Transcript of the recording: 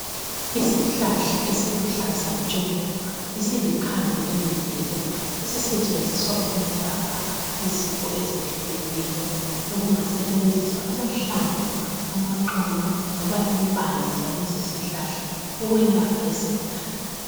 Isihlahla esiluhlaza tshoko, esilikhambi lemvelo esisetshenziswa ukwelapha izifo ezehlukeneyo. Sekungasetshenziswa amahlamvu, amaxolo loba impande zalesisihlahla ukwelapha isigulane.